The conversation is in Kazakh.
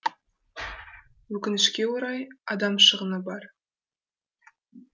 өкінішке орай адам шығыны бар